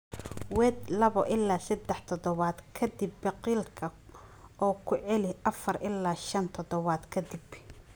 Weed labo ilaa sadah toddobaad ka dib biqilka oo ku celi afar ilaa shan toddobaad ka dib.